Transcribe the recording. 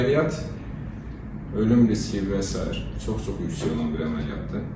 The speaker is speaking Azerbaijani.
Əməliyyat ölüm riski və sair çox-çox yüksək olan bir əməliyyatdır.